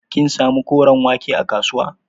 Kin samu koren wake a kasuwa?